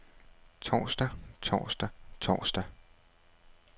torsdag torsdag torsdag